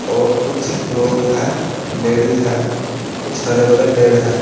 और कुछ लोग हैं लेडिस है कुछ हरे भरे पेड़ है।